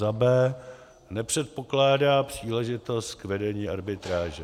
b) nepředpokládá příležitost k vedení arbitráže;